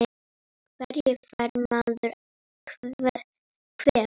Af hverju fær maður kvef?